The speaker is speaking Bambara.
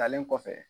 Talen kɔfɛ